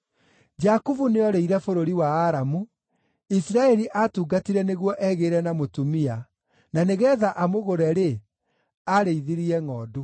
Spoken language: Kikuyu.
Jakubu nĩorĩire bũrũri wa Aramu; Isiraeli aatungatire nĩguo egĩĩre na mũtumia, na nĩgeetha amũgũre-rĩ, aarĩithirie ngʼondu.